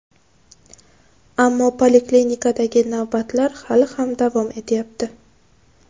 Ammo poliklinikadagi navbatlar hali ham davom etyapti.